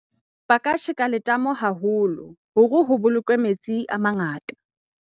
ba ka tjheka letamo haholo hore ho bolokwe metsi a mangata